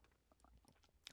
DR K